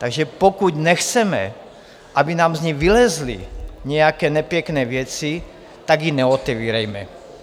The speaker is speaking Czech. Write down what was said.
Takže pokud nechceme, aby nám z ní vylezly nějaké nepěkné věci, tak ji neotevírejme!